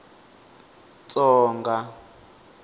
tsonga